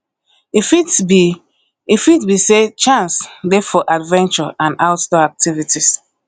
e fit be e fit be sey chance dey for adventure and outdoor activities